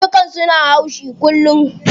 Karnukan suna haushi kullum.